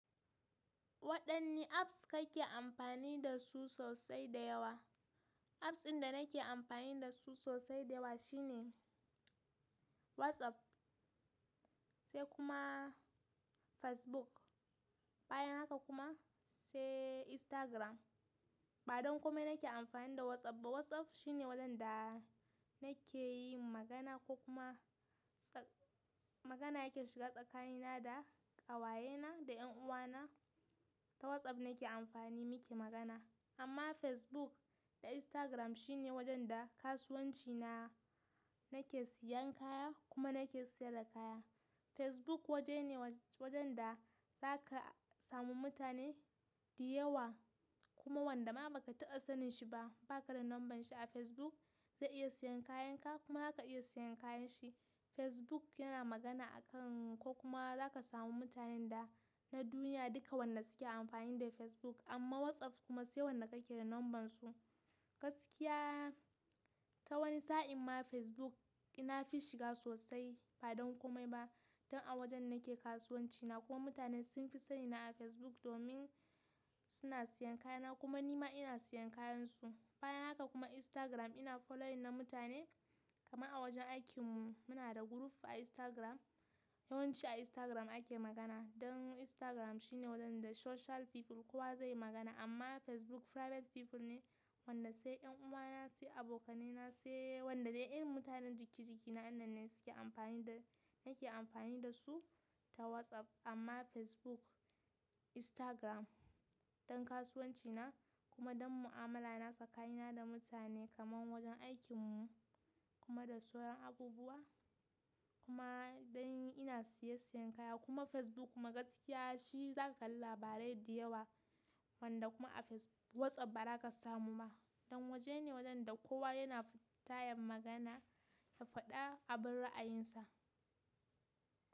Waɗanne apps kake amfani da su sosai da yawa? Apps ɗinda nake amfani da su sosai da yawa shine WhatsApp, sai kuma Facebook, bayan haka kuma sai Instagram. Ba don kome na ke amfani da WhatsApp ba. WhatsApp shi ne wajen da nake yi magana ko kuma tsak-- magana yake shiga tsakanina da ƙawayena da 'yan uwana. Ta WhatsApp nake amfani muke magana. Amma Facebook da Instagram shi ne wajen da kasuwanci na nake siyan kaya kuma nake sayar da kaya. Facebook waje ne wajen da za ka samu mutane da yawa kuma wanda ma ba ka taɓa sanin shi ba, ba ka da numbern shi a Facebook, zai iya siyan kayanka kuma za ka iya siyan kayan shi. Facebook yana magana a kan ko kuma za ka samu mutanen da na duniya duka wanda suke amfani da Facebook. Amma WhatsApp kuma sai wanda ka ke da numbern su. Gaskiya ta wani sa'in ma Facebook ina fi shiga sosai ba don kome ba, dan a wajen nake kasuwanci na kuma mutane sun fi sani na a Facebook domin suna siyan kayana kuma nima ina siyan kayan su. Bayan haka kuma Instagram ina following na mutane kama a wajen aikin mu muna da group a Instagram. Yawanci a Instagram ake magana. Dan Instagram shi ne wajen da social people kowa zai yi magana amma Facebook private people ne wanda sai ‘yan uwana sai abokaina sai wanda dai irin mutanen jiki jiki na inan ne suke amfani da nake amfani da su ta WhatsApp. Amma Facebook, Instagram don kasuwanci na kuma don mu'amala na tsakanina da mutane kaman wajen aikin mu kuma da sauran abubuwa kuma dan ina siya siya kaya. Kuma Facebook kuma gaskiya shi za ka kalla labarai da yawa wanda kuma a face-- WhatsApp ba za ka samu ba. Dan waje ne wajene da kowa yana fita ya magana ya faɗa abin ra'ayin sa.